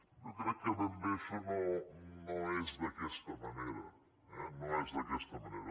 jo crec que ben bé això no és d’aquesta manera eh no és d’aquesta manera